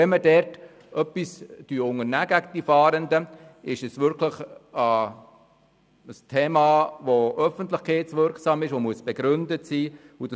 Wenn man dort etwas gegen die Fahrenden unternimmt, ist es ein Thema, das öffentlichkeitswirksam ist und das begründet sein muss.